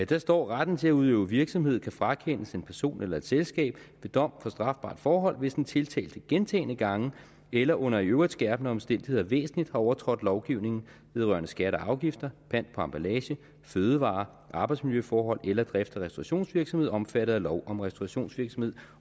der står retten til at udøve virksomhed kan frakendes en person eller et selskab ved dom for strafbart forhold hvis den tiltalte gentagne gange eller under i øvrigt skærpende omstændigheder væsentligt har overtrådt lovgivningen vedrørende skatter og afgifter pant på emballage fødevarer arbejdsmiljøforhold eller drifts og restaurationsvirksomhed omfattet af lov om restaurationsvirksomhed